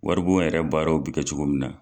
Wari bon yɛrɛ baaraw bi kɛ cogo min na.